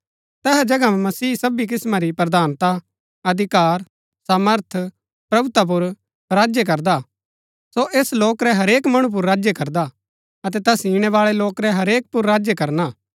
तैहा जगह मसीह सबी किस्‍मां री प्रधानता अधिकार सामर्थ प्रभुता पुर राज्य करदा हा सो ऐस लोक रै हरेक मणु पुर राज्य करदा अतै तैस इणै बाळै लोक रै हरेक पुर राज्य करना